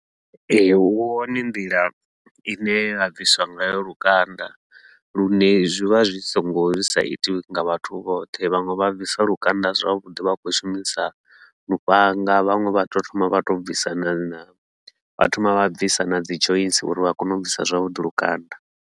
Ee, hu hone nḓila ine ya bviswa ngayo lukanda, lune zwivha zwi songo zwi sa itiwi nga vhathu vhoṱhe vhaṅwe vha bvisa lukanda zwavhuḓi vha khou shumisa lufhanga, vhaṅwe vha tou thoma vha to bvisa na na vha thoma vha bvisa nadzi joints uri vha kone u bvisa zwavhuḓi lukanda.